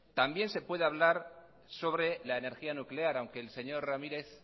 también se puede hablar sobre la energía nuclear aunque el señor ramírez